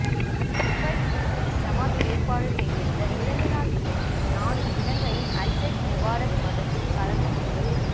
மும்பை முஸ்லிம் ஜமாத் ஏற்பாடு செய்திருந்த இரண்டு நாட்கள் நிகழ்ச்சியில் நானும் இலங்கையின் அஷ்ஷைஃக் முபாரக் மதனியும் கலந்து கொண்டோம்